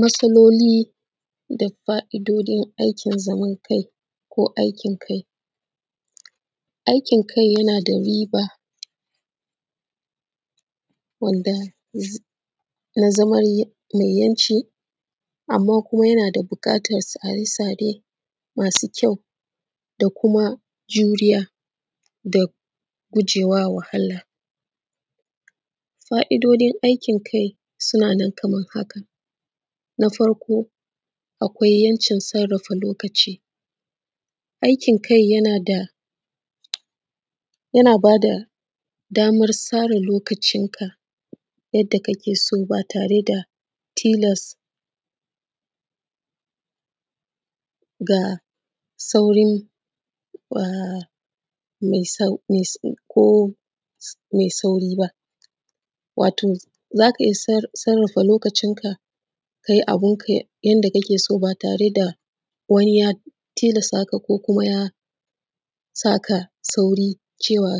Matsaloli da fa’idojin aikin zamankai ko aikin kai. Aikin kai yana da riba wanda na zaman yana da buƙatan a yi sa tare masu kyau da kuma juriya da gujewa wahala. Fa’idojin aikin kai suna nan kaman haka: na farkon akwai ‘yancin sarrafa lokaci, aikin kai yana bada daman tsara lokacinka ba tare da tilas ga saurin kome sauri wato za ka iya sarrafa lokacinka ka yi abinka yadda kake so ba tare da wani ya tilastaka ko kuma ya saka sauri cewa